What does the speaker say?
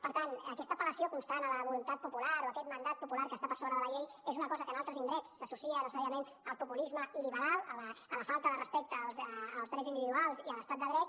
per tant aquesta apel·lació constant a la voluntat popular o aquest mandat popular que està per sobre de la llei és una cosa que en altres indrets s’associa necessàriament al populisme il·liberal a la falta de respecte als drets individuals i a l’estat de dret